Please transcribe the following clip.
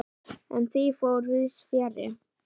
En því fór víðs fjarri.